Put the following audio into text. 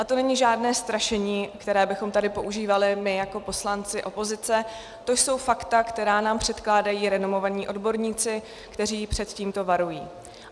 A to není žádné strašení, které bychom tady používali my jako poslanci opozice, to jsou fakta, která nám předkládají renomovaní odborníci, kteří před tímto varují.